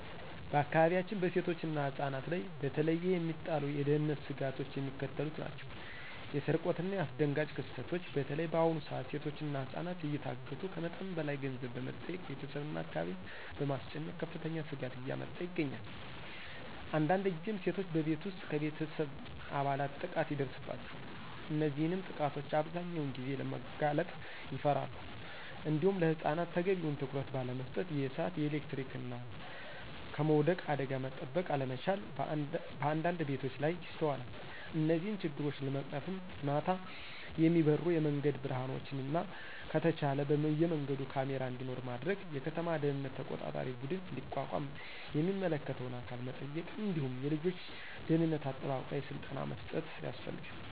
በአካባቢያችን በሴቶችና ህፃናት ላይ በተለየ የሚጣሉ የደህንነት ስጋቶች የሚከተሉት ናቸው። የስርቆትናየአስደንጋጭ ክስተቶች (በተለይ በአሁኑ ሰዓት ሴቶችና ህፃናት እየታገቱ ከመጠን በላይ ገንዘብ በመጠየቅ ቤተሰብና አካባቢን በማስጨነቅ ከፍተኛ ስጋት እያመጣ ይገኛል። አንዳንድ ጊዜም ሴቶች በቤት ውስጥ ከቤተሰብ አባላት ጥቃት ይደርስባቸዋል። እነዚህንም ጥቃቶች አብዛኛውን ጊዜ ለማጋለጥ ይፈራሉ። እንዲሁም ለህፃናት ተገቢውን ትኩረት ባለመስጠት የእሳት፣ የኤሌክትሪክና ከመውደቅ አደጋ መጠበቅ አለመቻል በአንዳንድ ቤቶች ላይ ይስተዋላል። እነዚህን ችግሮች ለመቅረፍም ማታ የሚበሩ የመንገድ ብርሀኖችንና ከተቻለ በየመንገዱ ካሜራ እንዲኖር ማድረግ፣ የከተማ ደህንነት ተቆጣጣሪ ቡድን እንዲቋቋም የሚመለከተውን አካል መጠየቅ እንዲሁም የልጆች ደህንነት አጠባበቅ ላይ ስልጠና መስጠት